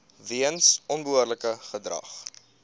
weens onbehoorlike gedrag